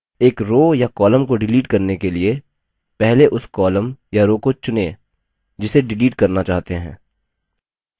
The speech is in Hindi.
एक row या column को डिलीट करने के लिए पहले उस column या row को चुनें जिसे डिलीट करना चाहते हैं